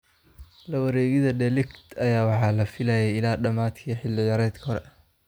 La wareegida De Ligt ayaa ah wax la filayay ilaa dhamaadkii xilli ciyaareedkii hore.